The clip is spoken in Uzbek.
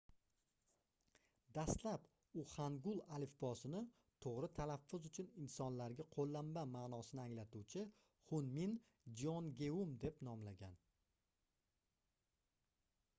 dastlab u hangul alifbosini toʻgʻri talaffuz uchun insonlarga qoʻllanma maʼnosini anglatuvchi hunmin jeongeum deb nomlagan